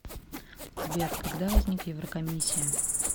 сбер когда возник еврокомиссия